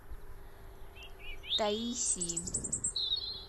таисии